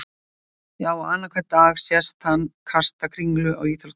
Já og annan hvern dag sést hann kasta kringlu á íþróttasíðum moggans.